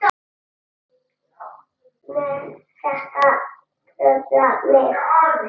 Mun þetta trufla mig?